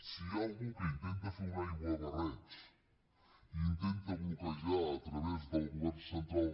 si hi ha algú que intenta fer un aiguabarreig i intenta bloquejar a través del govern central